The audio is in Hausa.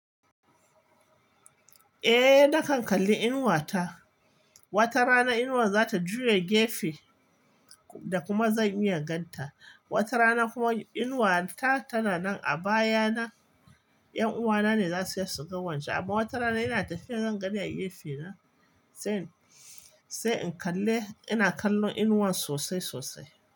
Eh, nakan kalli inuwa ta. Wata rana inuwa za ta juya gefe da kuma zan iya ganta. Wata rana kuma inuwa ta tana nan a baya na. 'Yan uwana ne za su iya suga wance amma wata rana ina tafiya zan gaɗa gefe na sai, sai in kalle ina kallon inuwan sosai sosai.